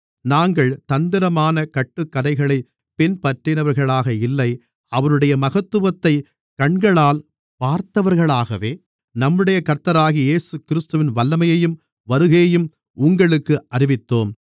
நாங்கள் தந்திரமான கட்டுக்கதைகளைப் பின்பற்றினவர்களாக இல்லை அவருடைய மகத்துவத்தைக் கண்களால் பார்த்தவர்களாகவே நம்முடைய கர்த்தராகிய இயேசுகிறிஸ்துவின் வல்லமையையும் வருகையையும் உங்களுக்கு அறிவித்தோம்